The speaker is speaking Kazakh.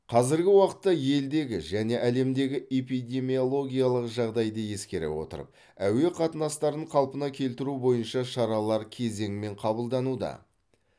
қазіргі уақытта елдегі және әлемдегі эпидемиологиялық жағдайды ескере отырып әуе қатынастарын қалпына келтіру бойынша шаралар кезеңмен қабылдануда